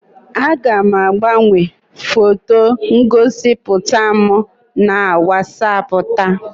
Aga m agbanwe foto ngosipụta m na WatsAapụ taa.